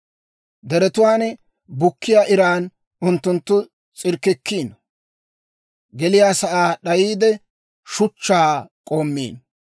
Deretuwaan bukkiyaa iran unttunttu s'irkkikkiino; geliyaasaa d'ayiide, shuchchaa k'oommiino.